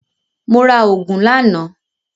Mo ra ògùn lánàá